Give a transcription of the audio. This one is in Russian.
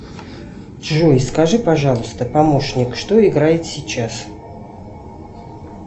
джой скажи пожалуйста помощник что играет сейчас